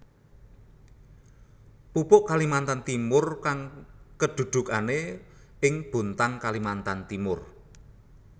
Pupuk Kalimantan Timur kang kedudukane ing Bontang Kalimantan Timur